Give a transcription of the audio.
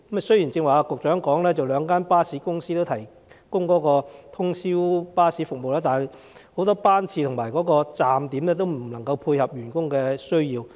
雖然局長剛才表示，兩間巴士公司皆有提供通宵巴士服務，但很多班次和站點無法配合員工的需要。